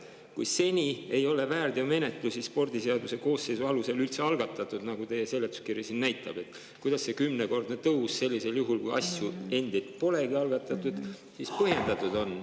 Kui seni ei ole väärteomenetlusi spordiseaduse koosseisu alusel üldse algatatud, nagu teie seletuskiri ütleb, kuidas siis see kümnekordne tõus, kui asju endid polegi algatatud, põhjendatud on?